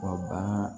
Wa bagan